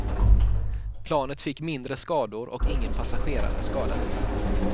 Planet fick mindre skador och ingen passagerare skadades.